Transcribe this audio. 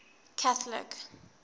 catholic